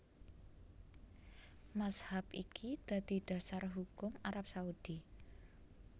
Mazhab iki dadi dasar hukum Arab Saudi